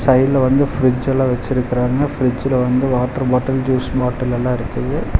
சைடுல வந்து பிரிட்ஜ்ஜெல்லா வெச்சிருக்காங்க பிரிட்ஜ்ல வந்து வாட்டர் பாட்டல் ஜூஸ் பாட்டல்லெல்லா இருக்குது.